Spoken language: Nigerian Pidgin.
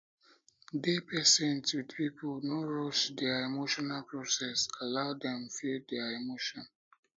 dey patient with pipo no rush their no rush their emotional process allow dem feel their emotion